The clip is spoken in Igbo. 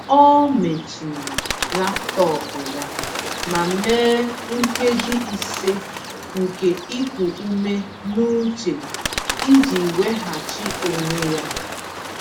Ọ mechiri laptọọpụ ya ma mee nkeji ise nke iku ume n’uche iji weghachi onwe ya.